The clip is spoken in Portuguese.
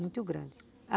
Muito grande.